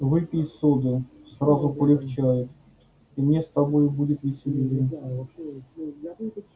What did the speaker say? выпей соды сразу полегчает и мне с тобою будет веселее